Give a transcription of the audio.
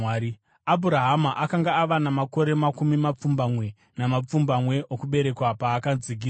Abhurahama akanga ava namakore makumi mapfumbamwe namapfumbamwe okuberekwa paakadzingiswa,